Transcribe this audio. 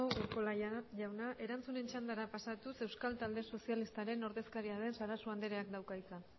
urkola jauna erantzunen txandara pasatuz euskal talde sozialistaren ordezkaria den sarasua andreak dauka hitza